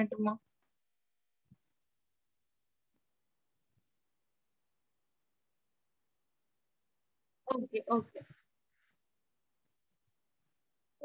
இல்ல இல்ல mam. சொல்லுங்க நா இப்போ mail இது பண்ணிட்டு உங்களுக்கு இப்போ அனுப்பிச்சுட்டுடறேன். நீங்க பாத்து இப்போ சொல்லிடுங்க இன்னைக்கு. okay ங்களா okay mam சொல்லுங்க உங்க mailID